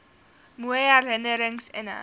mooi herinnerings inhou